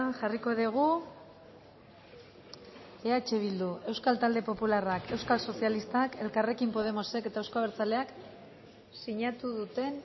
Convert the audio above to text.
jarriko dugu eh bildu euskal talde popularrak euskal sozialistak elkarrekin podemosek eta euzko abertzaleak sinatu duten